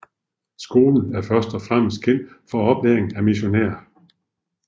Skolen er først og fremmest kendt for oplæring af missionærer